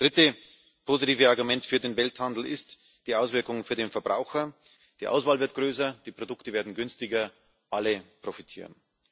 Das dritte positive Argument für den Welthandel sind die Auswirkungen für den Verbraucher die Auswahl wird größer, die Produkte werden günstiger alle profitieren.